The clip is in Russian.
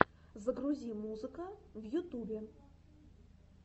загрузи музыка в ютубе